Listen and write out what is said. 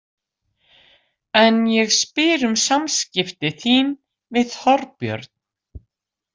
En ég spyr um samskipti þín við Þorbjörn.